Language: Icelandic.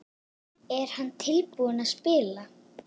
Er hann tilbúinn að spila?